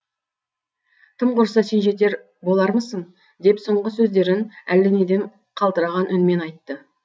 тым құрыса сен жетер болармысың деп соңғы сөздерін әлденеден қалтыраған үнмен айтты